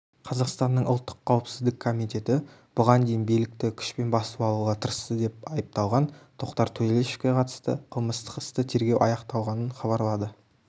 қазақстанның ұлттық қауіпсіздік комитеті бұған дейін билікті күшпен басып алуға тырысты деп айыпталған тоқтар төлешовке қатысты қылмыстық істі тергеу аяқталғанын хабарлады